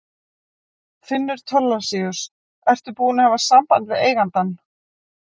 Finnur Thorlacius: Ertu búinn að hafa samband við eigandann?